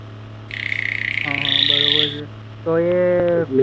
હા હા બરોબર છે. તો એ